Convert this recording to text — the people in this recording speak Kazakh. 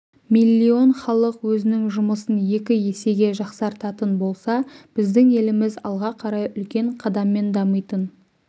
миллион халық өзінің жұмысын екі есеге жақсартатын болса біздің еліміз алға қарай үлкен қадаммен дамитын